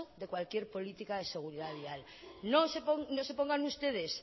de cualquier política de seguridad vial no se pongan ustedes